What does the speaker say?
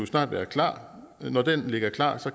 snart være klar og når den ligger klar